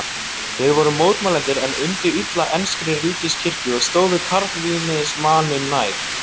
Þeir voru mótmælendur en undu illa enskri ríkiskirkju og stóðu kalvínismanum nær.